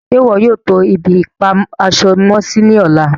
Ṣẹ́ iwọ yóò tó ibi-ipa-aṣọ-mọ-sí ní ọ̀lá?